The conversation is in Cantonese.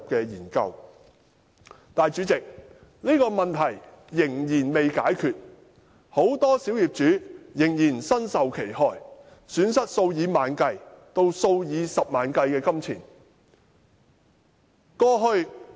但是，代理主席，這問題仍未解決，很多小業主仍然身受其害，損失數以萬計至數以十萬元計的金錢。